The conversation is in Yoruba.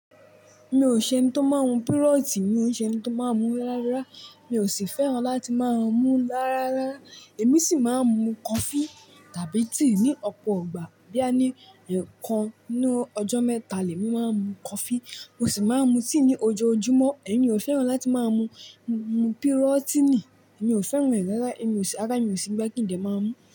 Mi ò ṣe ẹni tó máa ń mu pírọ́tí, mi ò ṣe ẹni tó máa ń mu rárá. Mi ò sì fẹ́ràn láti máa ń mu lára rárá. Èmi sì máa ń mu coffee tàbí tea ní ọ̀pọ̀ ìgbà, bóyá ní ẹ̀ẹ̀kan ni ọjọ́ mẹ́ta lè mi máa ń mu coffee, mo sì máa ń mu tea ní ojoojúmọ́. Èmi ò fẹ́ràn láti máa mu mu pírọ́tínì. Èmi ò fẹ́ràn rẹ̀ rárá, èmi ò sì, àrá mi ò sí gbà kí n dè máa mú.